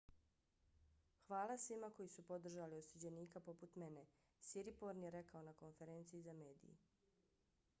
hvala svima koji su podržali osuđenika poput mene siriporn je rekao na konferenciji za mediji.